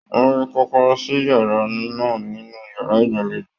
Wọn rí kọ̀kọ̀rọ̀ sí yàrá náà nínú yàrá ìgbàlèjo.